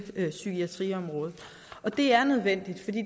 psykiatriområdet det er nødvendigt